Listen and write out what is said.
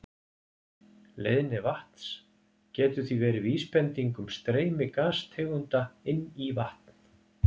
Leiðni vatns getur því verið vísbending um streymi gastegunda inn í vatn.